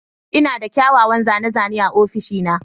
Ina da kyawawan zane-zane a ofishina.